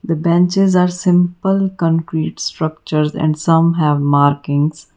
The benches are simple concrete structure and some have marking.